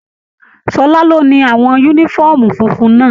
Ṣọlá ló ni àwọn yúnífọ̀ọ́mù fúnfún náà.